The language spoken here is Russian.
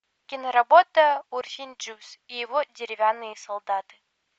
киноработа урфин джюс и его деревянные солдаты